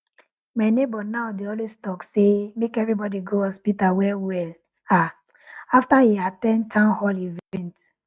my neighbor now dey always talk say make everybody go hospital early well well ah after e at ten d town hall event